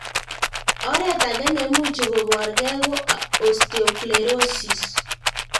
Oret ag'e neimuchi koporkei ko osteosclerosis.